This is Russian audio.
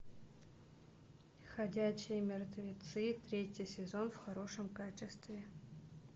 ходячие мертвецы третий сезон в хорошем качестве